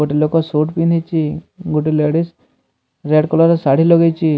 ଗୋଟେ ଲୋକ ସୁଟ୍ ପିନ୍ଧିଛ ଗୋଟେ ଲେଡିଜ୍ ରେଡ୍ କଲର୍ ର ଶାଢ଼ୀ ଲଗେଇଚି।